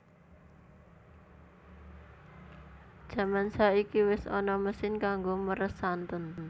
Jaman saiki wis ana mesin kanggo meres santen